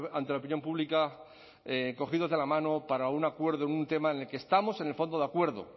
ante la opinión pública cogidos de la mano para un acuerdo en un tema en el que estamos en el fondo de acuerdo